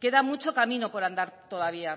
queda mucho camino por andar todavía